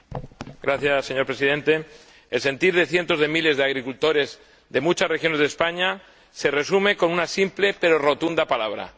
Señor Presidente, el sentir de cientos de miles de agricultores de muchas regiones de España se resume con una simple pero rotunda palabra no.